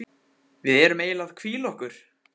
Við erum eiginlega að hvíla okkur.